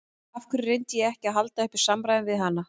Af hverju reyndi ég ekki að halda uppi samræðum við hana?